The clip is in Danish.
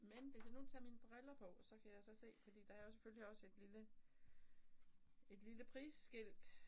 Men hvis jeg nu tager mine briller på så kan jeg så se fordi der er jo selvfølgelig også et lille et lille prisskilt